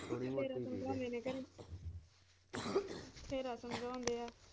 ਥੋੜੀ ਬਹੁਤੀ ਬਥੇਰਾ ਸਮਝਾਉਂਦੇ ਆ।